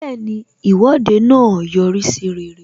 Bẹẹni, Ìwọ́de náà yọrí sí rere